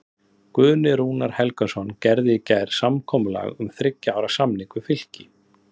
Guðni Rúnar Helgason gerði í gær samkomulag um þriggja ára samning við Fylki.